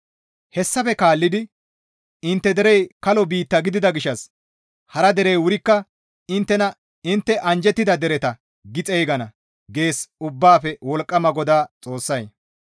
«Hessafe kaallidi intte derey kalo biitta gidida gishshas hara derey wurikka inttena intte anjjettida dereta gi xeygana» gees Ubbaafe Wolqqama GODAA Xoossay.